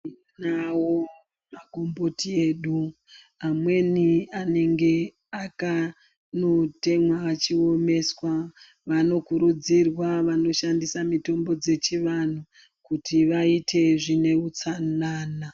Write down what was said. Tinawo magomboti edu amweni anenge anotemwa achiomeswa vanokurudzirwa vanoshandisa mitombo dzechiantu kuti vaite utsanana.